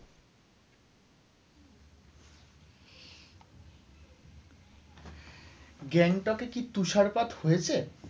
গ্যাংটকে কি তুষারপাত হয়েছে?